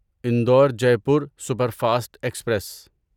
Indore Jaipur superfast express